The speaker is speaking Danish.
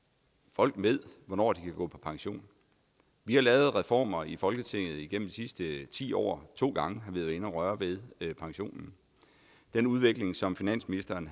folk ved hvornår de kan gå på pension vi har lavet reformer i folketinget igennem de sidste ti år og to gange har været inde at røre ved pensionen den udvikling som finansministeren